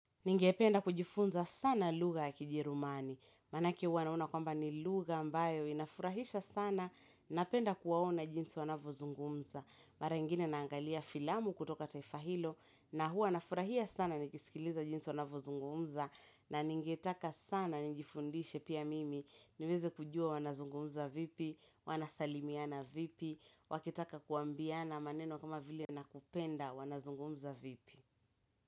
Ningependa kujifunza sana lugja ya kijerumani, manake huwa naona kwamba ni lugha ambayo inafurahisha sana, napenda kuwaona jinsi wanavyozungumza, mara ingine naangalia filamu kutoka taifa hilo, na hua nafurahia sana nikisikiliza jinsi wanavozungumza, na ningetaka sana nijifundishe pia mimi, niweze kujua wanazungumza vipi, wanasalimiana vipi, wakitaka kuambiana maneno kama vile nakupenda wanazungumza vipi.